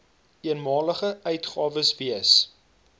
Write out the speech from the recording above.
eenmalige uitgawes wees